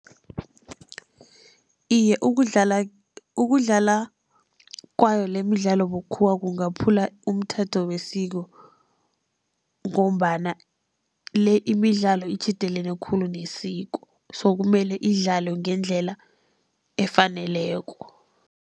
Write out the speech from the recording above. Iye, ukudlala, ukudlala kwayo lemidlalo bukhuwa kungaphula umthetho wesiko, ngombana le imidlalo itjhidelene khulu nesiko so kumele idlalwe ngendlela efaneleko.